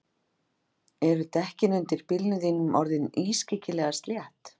Eru dekkin undir bílnum þínum orðin ískyggilega slétt?